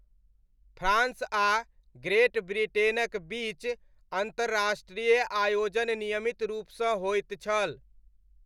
France आ ग्रेट ब्रिटेनक बीच अन्तर्राष्ट्रीय आयोजन नियमित रूपसँ होइत छल।